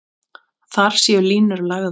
Þar séu línur lagðar.